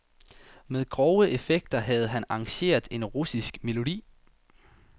Med grove effekter havde han arrangeret en russisk melodi.